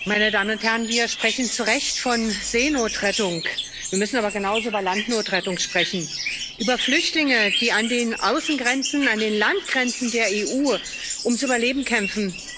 Herr Präsident, meine Damen und Herren! Wir sprechen zu Recht von Seenotrettung, wir müssen aber genauso über Landnotrettung sprechen, über Flüchtlinge, die an den Außengrenzen, an den Landgrenzen der EU ums Überleben kämpfen.